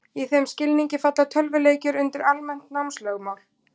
Í þeim skilningi falla tölvuleikir undir almennt námslögmál.